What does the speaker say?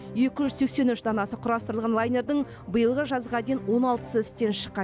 екі жүз сексен үш данасы құрастырылған лайнердің биылғы жазға дейін он алтысы істен шыққан